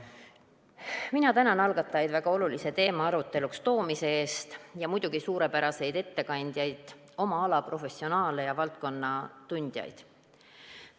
Ma tänan algatajaid väga olulise teema aruteluks toomise eest ja muidugi suurepäraseid ettekandjaid, oma ala professionaale ja valdkonnatundjaid!